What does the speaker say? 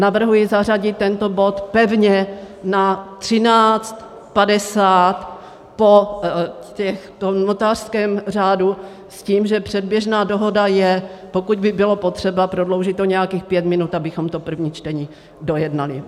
Navrhuji zařadit tento bod pevně na 13.50 po notářském řádu s tím, že předběžná dohoda je, pokud by bylo potřeba, prodloužit o nějakých pět minut, abychom to první čtení dojednali.